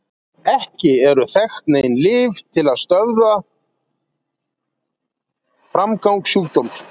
Ekki eru þekkt nein lyf til þess að stöðva framgang sjúkdómsins.